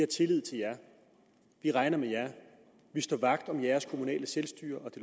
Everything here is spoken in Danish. tillid til jer vi regner med jer vi står vagt om jeres kommunale selvstyre og det